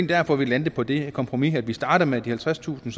derfor vi landede på det her kompromis vi startede med de halvtredstusind